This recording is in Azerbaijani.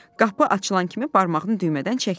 Qapı açılan kimi barmağını düymədən çəkdi.